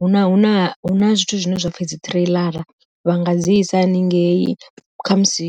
huna zwithu zwine zwapfhi dzi ṱireiḽara vha nga dzi isa haningei, khamusi